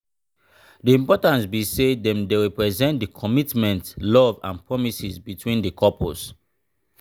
di importance be say dem dey represent di commitment love and promises between di couple.